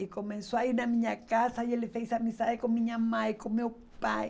E começou a ir na minha casa e ele fez amizade com minha mãe, com meu pai.